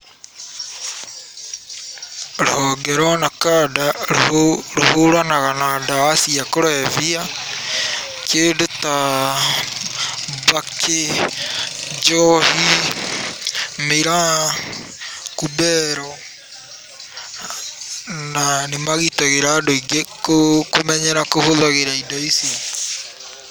Rũhonge rwa NACADA rũhũranaga na ndawa cia kũrebia, kĩndũ ta mbakĩ, njohi, mĩraa, kumbero, na nĩ magitagĩra andũ aingĩ kũmenyera kũhũthagĩra indo ici.